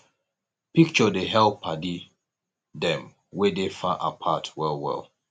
picture dey help paddy dem wey dey far apart well well